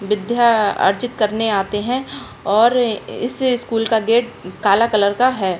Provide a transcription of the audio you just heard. विद्या अर्जित करने आते है और इस स्कूल का गेट काला कलर का है।